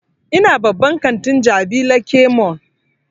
Ina babban kantin jabi lake mall